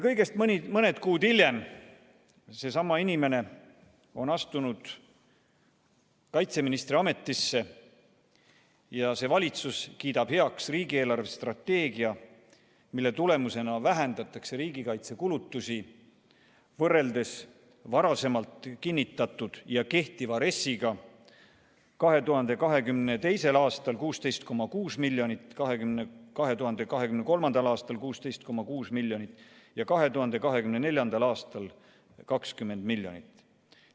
" Kõigest mõned kuud hiljem on seesama inimene astunud kaitseministri ametisse ja valitsus kiidab heaks riigi eelarvestrateegia, mille tulemusena vähendatakse riigikaitsekulutusi võrreldes varasemalt kinnitatud ja kehtiva RES-iga 2022. aastal 16,6 miljonit, 2023. aastal 16,6 miljonit ja 2024. aastal 20 miljonit.